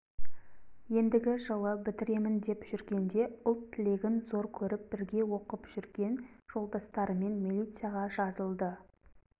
ендігі жылы бітіремін деп жүргенде ұлт тілегін зор көріп бірге оқып жүрген жолдастарымен милицияға жазылды